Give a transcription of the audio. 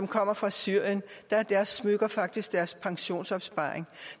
kommer fra syrien er deres smykker faktisk deres pensionsopsparing